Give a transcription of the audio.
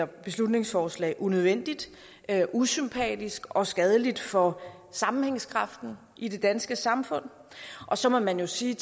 beslutningsforslag unødvendigt usympatisk og skadeligt for sammenhængskraften i det danske samfund og så må man jo sige